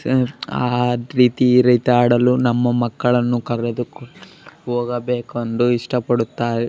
ಛೆ ಅದ್ವಿತಿ ರೀತಿ ಆಡಲು ನಮ್ಮ ಮಕ್ಕಳನ್ನು ಕರೆದುಕೊಂಡು ಹೋಗಬೇಕು ಅಂದು ಇಷ್ಟ ಪಡುತ್ತಾರೆ --